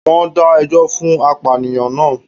Wón dá ẹjọ́ fún apànìyàn naa